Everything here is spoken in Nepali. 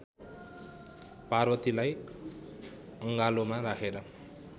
पार्वतीलाई अङ्गालोमा राखेर